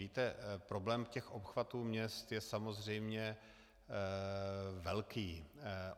Víte, problém těch obchvatů měst je samozřejmě velký.